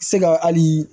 Se ka hali